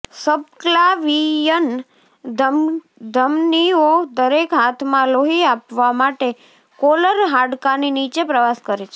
subclavian ધમનીઓ દરેક હાથમાં લોહી આપવા માટે કોલર હાડકાંની નીચે પ્રવાસ કરે છે